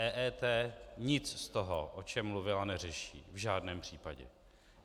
EET nic z toho, o čem mluvila, neřeší v žádném případě.